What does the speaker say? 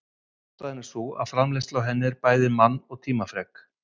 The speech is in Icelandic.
Ástæðan er sú að framleiðsla á henni en bæði mann- og tímafrek.